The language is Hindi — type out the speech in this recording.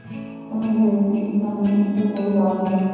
समझ गये कि इस समय इससे कोई लाभ नहीं